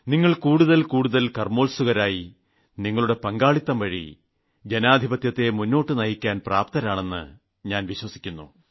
നിങ്ങൾ കൂടുതൽ കൂടുതൽ കർമ്മോത്സുകരായി നിങ്ങളുടെ പങ്കാളിത്തംവഴി ജനാധിപത്യത്തെ മുന്നോട്ടു നയിക്കാൻ പ്രാപ്തരാണെന്ന് ഞാൻ വിശ്വസിക്കുന്നു